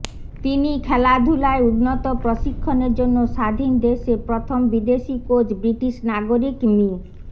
তিনি খেলাধুলায় উন্নত প্রশিক্ষণের জন্য স্বাধীন দেশে প্রথম বিদেশি কোচ ব্রিটিশ নাগরিক মি